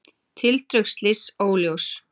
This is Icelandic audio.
Tildrög slyss óljós